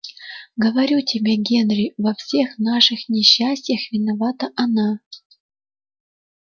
говорю тебе генри во всех наших несчастьях виновата она